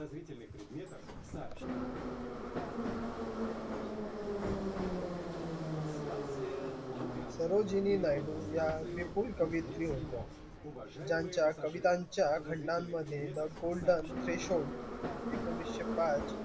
या विपुल कवियत्री होत्या ज्यांच्या कवितांच्या खंडांनमध्ये the golden fish home एकोणीशे पाच